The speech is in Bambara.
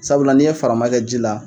Sabula n'i ye farama kɛ ji la.